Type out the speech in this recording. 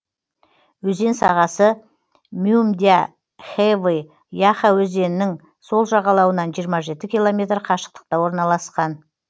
өзен сағасы мюмдя хэвы яха өзенінің сол жағалауынан жиырма жеті километр қашықтықта орналасқан